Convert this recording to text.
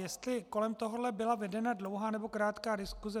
Jestli kolem tohoto byla vedena dlouhá, nebo krátká diskuse.